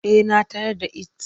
Eh na tayar da its.